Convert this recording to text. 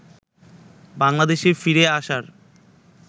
বাংলাদেশে ফিরে আসার